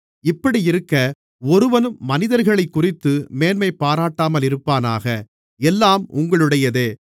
இப்படியிருக்க ஒருவனும் மனிதர்களைக்குறித்து மேன்மைபாராட்டாமலிருப்பானாக எல்லாம் உங்களுடையதே